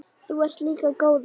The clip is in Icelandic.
Þú ert líka góður.